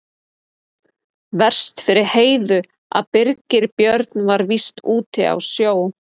Verst fyrir Heiðu að Birgir Björn var víst úti á sjó.